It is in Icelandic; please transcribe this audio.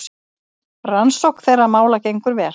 Rannsókn þeirra mála gengur vel.